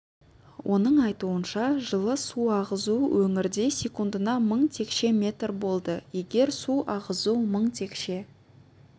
оның айтуынша жылы су ағызу өңірде секундына мың текше метр болды егер су ағызу мың текше